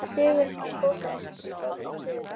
Sigurmar, bókaðu hring í golf á þriðjudaginn.